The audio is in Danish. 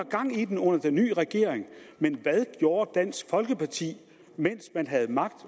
gang i den under den nye regering men hvad gjorde dansk folkeparti mens man havde magt